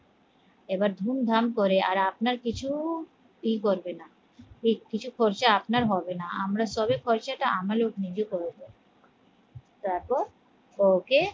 এবার ধুমধাম করে আর আপনার কিছুই করবে না বেশ কিছু খরচা আপনার হবে না আমরা সবে খরচাটা আম লগ নিজে করবো তারপর ওকে